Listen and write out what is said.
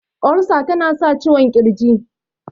Ulcer ta na sa ciwon kirji